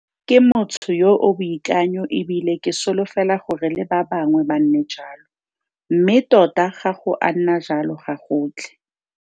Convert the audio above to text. Ke motho yo o boikanyo e bile ke solofela gore le ba bangwe ba nne jalo, mme tota ga go a nna jalo gagotlhe.